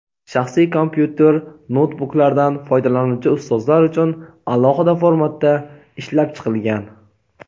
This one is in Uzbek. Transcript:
shaxsiy kompyuter/noutbuklardan foydalanuvchi ustozlar uchun alohida formatda ishlab chiqilgan.